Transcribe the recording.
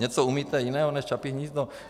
Něco umíte jiného než Čapí hnízdo?